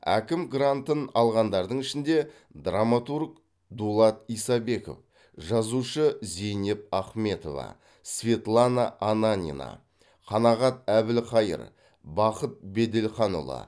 әкім грантын алғандардың ішінде драматург дулат исабеков жазушы зейнеп ахметова светлана ананина қанағат әбілқайыр бақыт беделханұлы